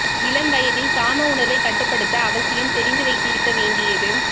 இளம் வயதில் காம உணர்வை கட்டுப்படுத்த அவசியம் தெரிந்து வைத்திருக்க வேண்டியது